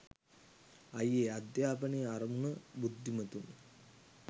අයියේ අධ්‍යාපනයේ අරමුණ බුද්ධිමතුන්